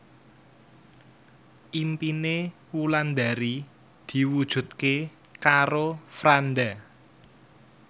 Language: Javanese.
impine Wulandari diwujudke karo Franda